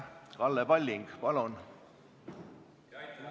Kalle Palling, palun!